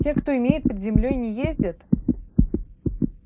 те кто имеет под землёй не ездят